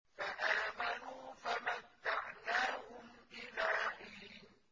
فَآمَنُوا فَمَتَّعْنَاهُمْ إِلَىٰ حِينٍ